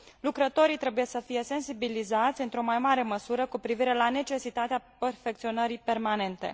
Lucrătorii trebuie să fie sensibilizați într o mai mare măsură cu privire la necesitatea perfecționării permanente.